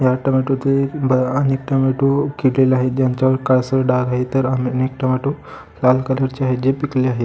ह्यात टेमॅटोचे भ आहेत टेमॅटो किडलेले आहेत ज्यांच्यावर वर काळसर डाग आहेत तर टेमॅटो लाल कलरचे आहेत जे पिकले आहेत.